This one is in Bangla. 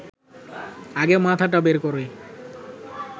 আগে মাথাটা বের করে